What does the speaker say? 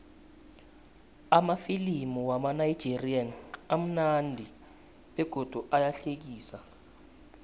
amafilimu wamanigerian amunandi begodu ayahlekisa